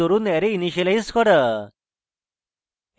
ঘোষণাকরণের দরুন array initialise করা